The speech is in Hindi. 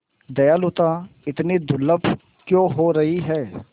दयालुता इतनी दुर्लभ क्यों हो रही है